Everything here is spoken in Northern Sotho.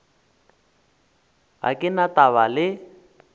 ga ke na taba le